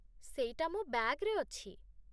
ସେଇଟା ମୋ ବ୍ୟାଗ୍‌ରେ ଅଛି।